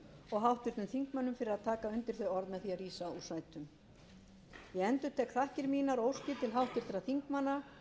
og háttvirtum þingmönnum fyrir að taka undir þau orð með því að rísa úr sætum ég endurtek þakkir mínar og óskir